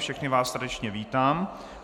Všechny vás srdečně vítám.